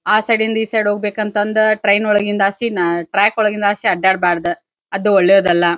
ಆ ಸೈಡಿಂದ ಈ ಸೈಡ್ ಹೋಗಬೇಕಂತಂದ ಟ್ರೈನ್ ಒಳಗಿಂದ ಆಸಿ ನಾ ಟ್ರ್ಯಾಕ್ ಒಳಗಿಂದ ಹಾಸಿ ಅಡ್ಡಾಡ ಬಾರ್ದ್ ಅದು ಒಳ್ಳೇದಲ್ಲಾ.